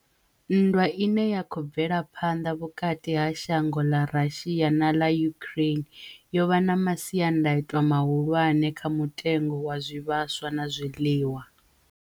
Nndwa ine ya khou bvela phanḓa vhukati ha shango ḽa Russia na ḽa Ukraine yo vha na masiandaitwa mahulwane kha mutengo wa zwivhaswa na zwiḽiwa.